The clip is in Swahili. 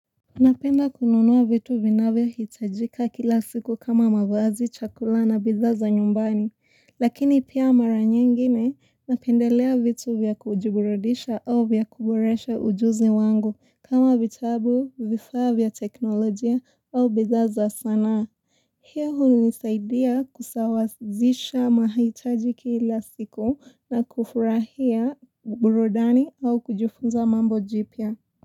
Napenda kununua vitu vinavyohitajika kila siku kama mavazi, chakula na bidhaa za nyumbani, lakini pia mara nyingine napendelea vitu vya kujiburudisha au vya kuboresha ujuzi wangu kama vitabu vifaa vya teknolojia au bidhaa za sanaa. Hiyo hunisaidia kusawazisha mahitaji kila siku na kufurahia burudani au kujifunza mambo jipya.